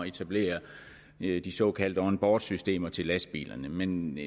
etablere de såkaldte onboardsystemer til lastbilerne men